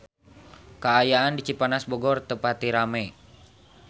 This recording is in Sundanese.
Kaayaan di Cipanas Bogor teu pati rame